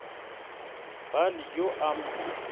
ba le yo a mo